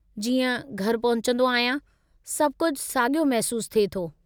जीअं घरि पहुचंदो आहियां, सभु कुझु साॻियो महिसूसु थिए थो।